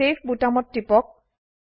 save বোতামত টিপক